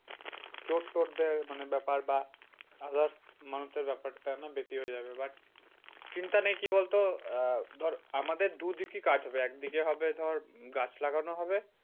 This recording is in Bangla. চোট টোট দেয় মানে ব্যাপার বা others মানুষের ব্যাপারটা না বেশি হয়ে যাবে but চিন্তা নেই কি বলতো? আহ ধর আমাদের দুদিকেই কাজ হবে। একদিকে হবে ধর গাছ লাগানো হবে